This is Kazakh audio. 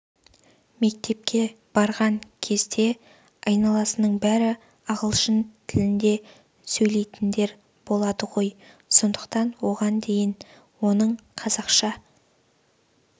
мектепке барған кезде айналасының бәрі ағылшын тілінде сөйлетіндер болады ғой сондықтан оған дейін оның қазақша